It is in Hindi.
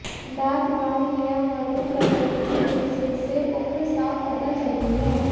डार्क ब्राउन या मरून कलर की लिपस्टिक से उम्र साफ पता चलती है